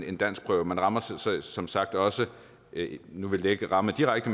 en danskprøve man rammer som sagt også nu vil det ikke ramme direkte